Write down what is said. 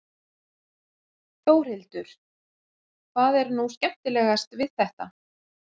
Þórhildur: Hvað er nú skemmtilegast við þetta?